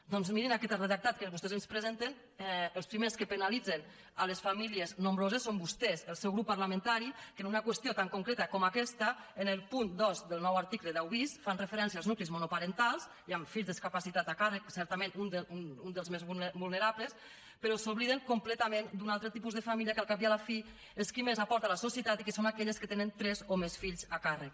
doncs mirin en aquest redactat que vostès ens presenten els primers que penalitzen les famílies nombroses són vostès el seu grup parlamentari que en una qüestió tan concreta com aquesta en el punt dos del nou article deu bis fan referència als nuclis monoparentals i amb fills discapacitats a càrrec certament un dels més vulnerables però s’obliden completament d’un altre tipus de família que al cap i a la fi és qui més aporta a la societat i que són aquelles que tenen tres o més fills a càrrec